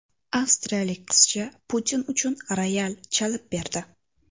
Avstriyalik qizcha Putin uchun royal chalib berdi.